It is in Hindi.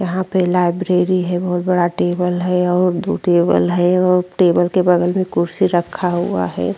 यहां पे लाइब्रेरी है। बहुत बड़ा टेबल है और दू टेबल है और टेबल के बगल में कुर्सी रखा हुआ है।